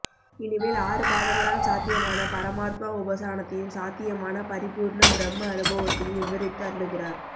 இனி மேல் ஆறு பாதங்களால் சாத்தியமான பரமாத்மா உபாசனத்தையும் சாத்தியமான பரிபூர்ண ப்ரஹ்ம அனுபவத்தையும் விவரித்து அருளுகிறார்